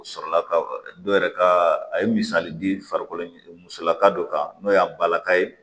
U sɔrɔla ka dɔ yɛrɛ ka a ye misali di farikolo musolaka dɔ kan n'o y'a bala ka ye